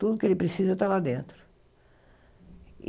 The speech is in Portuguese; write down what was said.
Tudo que ele precisa está lá dentro.